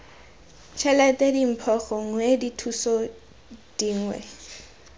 tšhelete dimpho gongwe dithuso dingwe